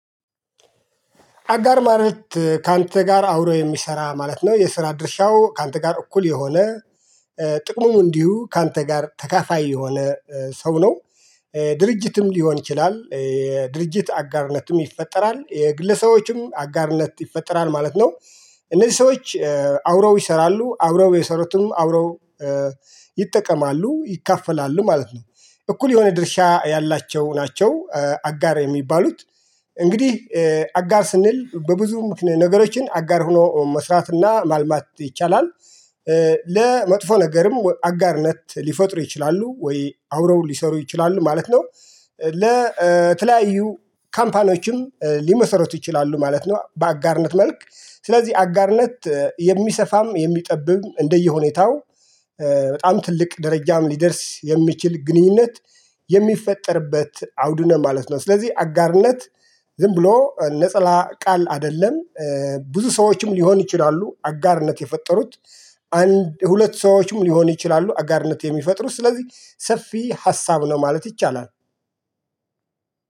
አጋር ማለት ካንተ ጋር አብሮ የሚሰራ ማለት ነው የስራ ድርሻው ካንተ ጋር እኩል የሆነ ጥቅሙም እንዲሁ ካንተ ጋር ተካፋይ የሆነ ሰው ነው። ድርጅትም ሊሆን ይችላል የድርጅት አጋርነትም ይፈጠራል የግለሰቦችም አጋርነት ይፈጠራል ማለት ነው። እነዚህ ሰዎች አብረው ይሰራሉ አብረው የሰሩትም አብረው ይጠቀማሉ ይካፈላሉ ማለት ነው። እኩል የሆነ ድርሻ ያላቸው ናቸው አጋር የሚባሉት እንግዲህ አጋር ስንል በብዙ ነገሮችን አጋር ሆኖ መስራትና ማልማት ይቻላል። ለመጥፎ ነገርም አጋርነት ሊፈጥሩ ይችላሉ ወይ አብረው ሊሰሩ ይችላሉ ማለት ነው። ለተለያዩ ካምፓኒዎችም ሊመሰረት ይችላሉ ማለት ነው። በአጋርነት መልክ ስለዚህ አጋርነት የሚሰፋም የሚጠብም እንደየሁኔታው በጣም ትልቅ ደረጃም ሊደርስ የሚችል ግንኙነት የሚፈጠርበት አውድ ነው ማለት ነው። ስለዚህ አጋርነት ዝም ብሎ ነጠላ ቃል አይደለም። ብዙ ሰዎችም ሊሆን ይችላሉ አጋርነት የፈጠሩት አንድ ሁለት ሰዎችም ሊሆን ይችላሉ አጋርነት የሚፈጥሩ ስለዚህ ሰፊ ሀሳብ ነው ማለት ይቻላል።